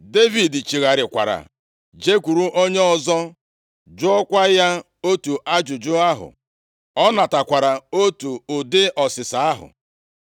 Devid chigharịkwara jekwuru onye ọzọ jụọkwa ya otu ajụjụ ahụ. Ọ natakwara otu ụdị ọsịsa ahụ.